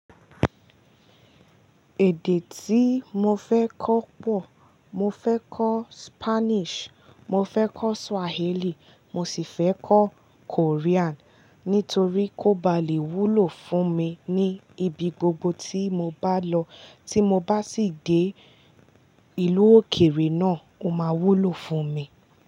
Èdè tí mo fẹ́ kọ́ pọ̀, mo fẹ́ kọ́ Spanish, mo fẹ́ kọ́ Swahili, mo sì fẹ́ kọ́ Korean. Nítorí kó ba lè wúlò fún mi ní ibi gbogbo tí mo bá lọ, tí mo bá sì dé ìlú òkèèrè náà, ó máa wúlò fún mi.